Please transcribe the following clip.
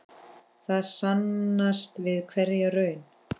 Það sannast við hverja raun.